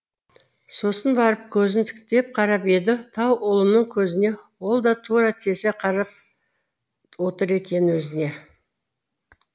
сосын барып көзін тіктеп қарап еді тау ұлының көзіне ол да тура тесе қарап отыр екен өзіне